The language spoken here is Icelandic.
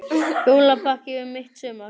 Jólapakki um mitt sumar